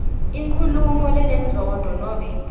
inkhulumo lenenzondo nobe